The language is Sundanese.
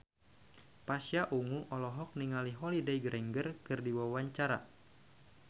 Pasha Ungu olohok ningali Holliday Grainger keur diwawancara